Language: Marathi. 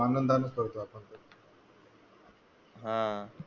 आनंदानेच करतो आपण ना. हा.